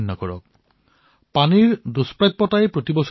আপুনি মাৰ সমান অৰ্থাৎ মাতৃত্ব আপোনাৰ আশীৰ্বাদ